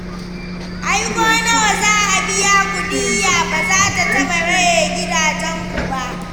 Ai ko nawa za a biya ku diya ba za taɓa maye muku gidajenku ba.